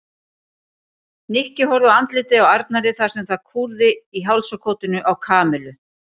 Nikki horfði á andlitið á Arnari þar sem það kúrði í hálsakotinu á Kamillu.